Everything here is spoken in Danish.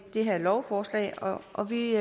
det her lovforslag og og vi